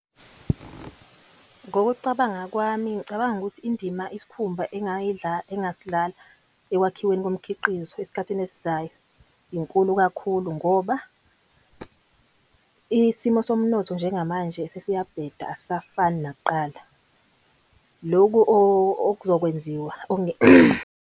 Ngokucabanga kwami ngicabanga ukuthi indima isikhumba engasidlala ekwakhiweni komkhiqizo esikhathini esizayo, inkulu kakhulu ngoba, isimo somnotho njengamanje sesiyabheda asisafani nakuqala. Loku okuzokwenziwa .